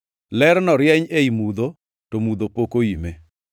Lerno rieny ei mudho, to mudho pok oime.